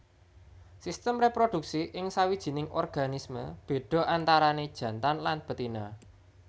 Sistem réproduksi ing sawijining organisme béda antarané jantan lan betina